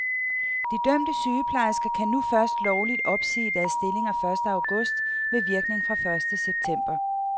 De dømte sygeplejersker kan nu først lovligt opsige deres stillinger første august med virkning fra første september.